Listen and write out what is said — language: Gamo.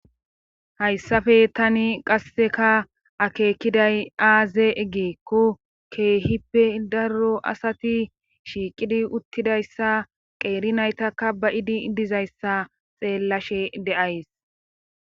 hayssafe tani qasseka akeekiday aaze eggeekko keehippe darro asati shiiqidi uttidayssa qeeri naytaka ba idi dizayssa xeellashe de7ays